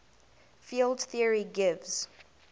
field theory gives